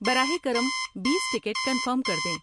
براہ کرم بیس ٹکٹ کنفرم کر دیں